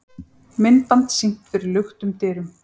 Myndband sýnt fyrir luktum dyrum